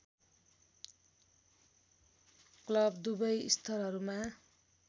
club दुवै स्तरहरूमा